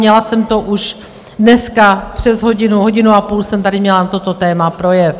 Měla jsem to už dneska přes hodinu, hodinu a půl jsem tady měla na toto téma projev.